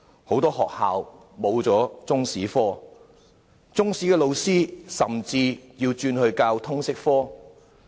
很多學校沒有獨立的中史科，中史老師甚至轉教通識科。